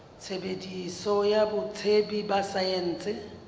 tshebetso ya botsebi ba saense